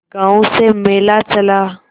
गांव से मेला चला